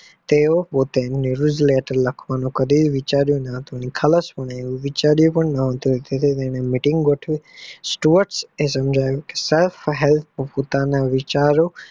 તેવો પોતે નિવૃત્તિ માં લખવાનું કદી વિકગરીયુના હતું નિખાલસ પણ વિચારીયુ પણ ના હતું એક દીવસ તમને meeting ગોઠવી સસ્ટોફસફાહેડ પોતાના વિચારો